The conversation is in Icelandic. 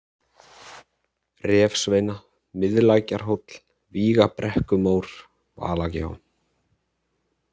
Refsveina, Miðlækjarhóll, Vígabrekkumór, Valagjá